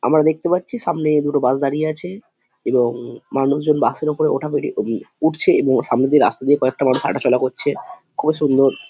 আমরা দেখতে পাচ্ছি সামনে এ দুটো বাস দাঁড়িয়ে আছে এবং মানুষজন বাস - এর ওপরে ওঠা ওঠি উম উঠছে এবং সামনে দিয়ে রাস্তা দিয়ে কয়েকটা মানুষ হাঁটা চলা করছে খুব সুন্দর|